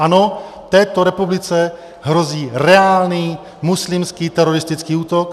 Ano, této republice hrozí reálný muslimský teroristický útok.